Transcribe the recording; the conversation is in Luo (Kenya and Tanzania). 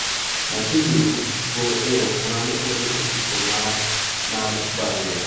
Machiegni uru, go ero kamano ere otiko mare mar baruwa.